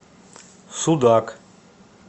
судак